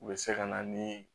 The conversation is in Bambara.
U bɛ se ka na ni